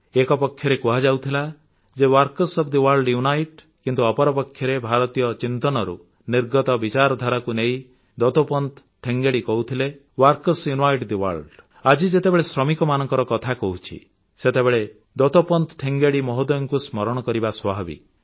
ଏକପକ୍ଷରେ କୁହାଯାଉଥିଲା ଯେ workers of the world unite କିନ୍ତୁ ଅପରପକ୍ଷରେ ଭାରତୀୟ ଚିନ୍ତନରୁ ନିର୍ଗତ ବିଚାରଧାରାକୁ ନେଇ ଦତୋପନ୍ତ ଠେଙ୍ଗେଡ଼ି କହୁଥିଲେ ୱର୍କର୍ସ ୟୁନାଇଟ୍ ଥେ ୱର୍ଲ୍ଡ ଆଜି ଯେତେବେଳେ ଶ୍ରମିକମାନଙ୍କ କଥା କହୁଛି ସେତେବେଳେ ଦତୋପନ୍ତ ଠେଙ୍ଗେଡ଼ି ମହୋଦୟଙ୍କୁ ସ୍ମରଣ କରିବା ସ୍ୱାଭାବିକ